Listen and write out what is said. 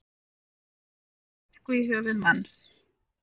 Kastaði flösku í höfuð manns